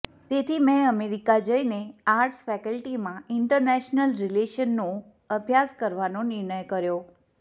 તેથી મેં અમેરિકા જઇને આર્ટ્સ ફેકલ્ટીમાં ઇન્ટરનેશનલ રિલેશનનો અભ્યાસ કરવાનો નિર્ણય કર્યો